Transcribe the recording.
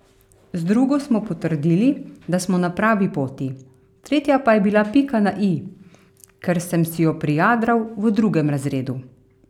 Z drugo smo potrdili, da smo na pravi poti, tretja pa je bila pika na i, ker sem si jo prijadral v drugem razredu.